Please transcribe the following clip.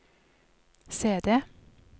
CD